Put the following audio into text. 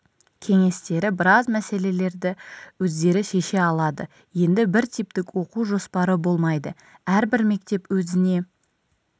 кеңестері біраз мәселелерді өздері шеше алады енді бір типтік оқу жоспары болмайды әрбір мектеп өзіне